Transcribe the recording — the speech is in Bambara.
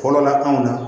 Fɔlɔla anw na